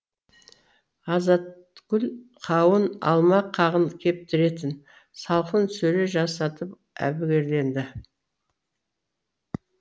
азатгүл қауын алма қағын кептіретін салқын сөре жасатып әбігерленді